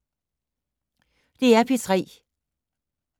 DR P3